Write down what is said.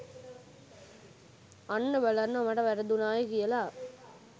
අන්න බලන්න මට වැරදුනාය කියලා